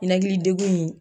Ninakili degu in